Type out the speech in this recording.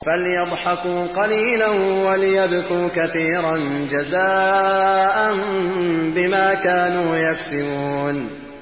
فَلْيَضْحَكُوا قَلِيلًا وَلْيَبْكُوا كَثِيرًا جَزَاءً بِمَا كَانُوا يَكْسِبُونَ